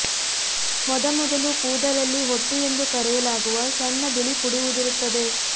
ಮೊದಮೊದಲು ಕೂದಲಲ್ಲಿ ಹೊಟ್ಟು ಎಂದು ಕರೆಯಲಾಗುವ ಸಣ್ಣ ಬಿಳಿ ಪುಡಿ ಉದುರುತ್ತದೆ